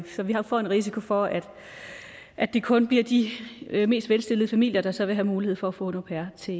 så vi får en risiko for at at det kun bliver de mest velstillede familier der så vil have mulighed for at få en au pair til